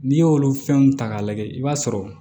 N'i y'olu fɛnw ta k'a lajɛ i b'a sɔrɔ